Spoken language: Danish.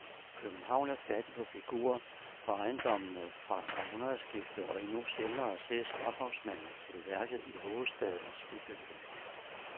København er fattig på figurer på ejendommene fra århundredskiftet og endnu sjældnere ses ophavsmanden til værket i hovedstadens bybillede.